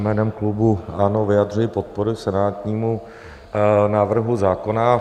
Jménem klubu ANO vyjadřuji podporu senátnímu návrhu zákona.